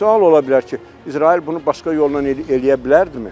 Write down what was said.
Sual ola bilər ki, İsrail bunu başqa yolla eləyə bilərdimi?